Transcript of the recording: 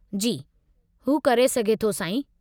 जी, हू करे सघे थो साईं।